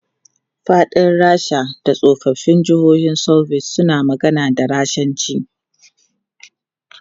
Faɗin Rasha da tsoffin jihohin Soviet suna magana da Rashanci.